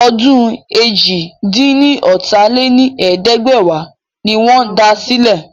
Ọdún eéjìlá-dín-ní-ọ́ta lé ní ẹ̀ẹ́dẹ́gbẹ́wá ni wọ́n da sílẹ̀.